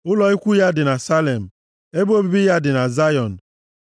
Ụlọ ikwu ya dị na Salem, ebe obibi ya dị na Zayọn